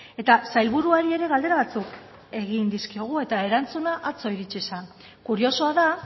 eta sailburuari ere galdera batzuk egin dizkiogu eta erantzuna atzo iritsi zen kuriosoa da